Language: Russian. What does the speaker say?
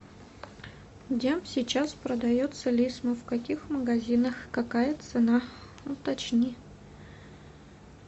где сейчас продается лисма в каких магазинах какая цена уточни